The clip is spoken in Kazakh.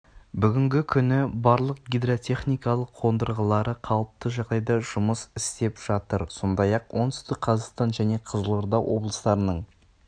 бүгінгі күні барлық гидротехникалық қондырғылары қалыпты жағдайда жұмыс істеп жатыр сондай-ақ оңтүстік қазақстан және қызылорда облыстарының